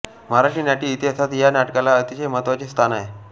मराठी नाट्य इतिहासात या नाटकाला अतिशय महत्त्वाचे स्थान आहे